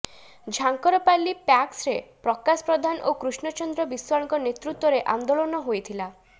ଝାଙ୍କରପାଲି ପ୍ୟାକ୍ସରେ ପ୍ରକାଶ ପ୍ରଧାନ ଓ କୃଷ୍ଣଚନ୍ଦ୍ର ବିଶ୍ୱାଳଙ୍କ ନେତୃତ୍ୱରେ ଆନ୍ଦୋଳନ ହୋଇଥିଲା